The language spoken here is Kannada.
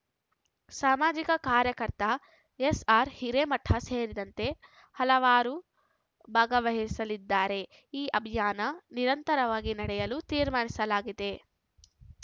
ಸಾಮಾಜಿಕ ಕಾರ್ಯಕರ್ತ ಎಸ್‌ಆರ್‌ಹಿರೇಮಠ ಸೇರಿದಂತೆ ಹಲವರು ಭಾಗವಹಿಸಲಿದ್ದಾರೆ ಈ ಅಭಿಯಾನ ನಿರಂತರವಾಗಿ ನಡೆಯಲು ತೀರ್ಮಾನಿಸಲಾಗಿದೆ